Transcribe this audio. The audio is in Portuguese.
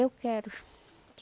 Eu quero.